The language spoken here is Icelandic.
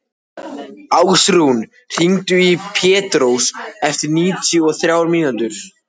Ásrún, hringdu í Pétrós eftir níutíu og þrjár mínútur.